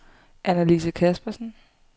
Annalise Caspersen